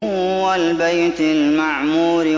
وَالْبَيْتِ الْمَعْمُورِ